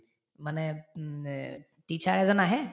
মানে উম এ teacher এজন আহে